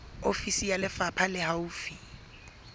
ofisi ya lefapha le haufi